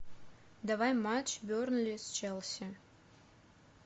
давай матч бернли с челси